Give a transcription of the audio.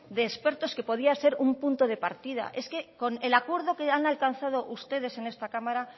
de expertos que podía ser un punto de partida es que el acuerdo que han alcanzado ustedes en esta cámara